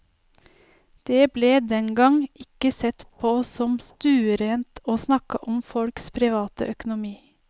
Det ble den gang ikke sett på som stuerent å snakke om folks private økonomi.